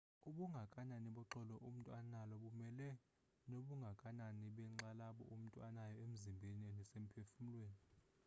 ubungakanani boxolo umntu analo bumelana nobungakanani benxalabo umntu anayo emzimbeni nasemphefumlweni